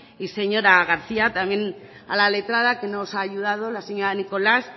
y señora garcía también a la letrada que nos ha ayudado la señora nicolás